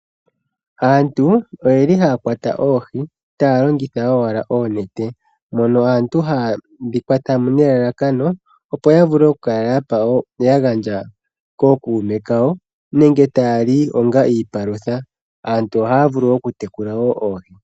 Aantu oyeli haya kwata oohi taya longitha owala oonete mono aantu hayedhi kwatamo nelalakano oku kala ya gandja kookuume kawo nenge tayali Onga iipalutha. Antu ohaya vulu okutekula oohi